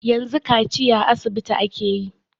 Yanzu kaciya a asibiti ake yi.